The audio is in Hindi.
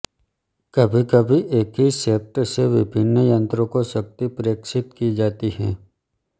कभीकभी एक ही शैफ्ट से विभिन्न यंत्रों को शक्ति प्रेषित की जाती है